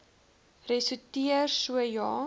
ressorteer so ja